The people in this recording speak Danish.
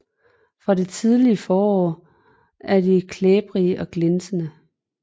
Fra det tidlige forår er de klæbrige og glinsende